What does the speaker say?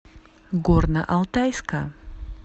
горно алтайска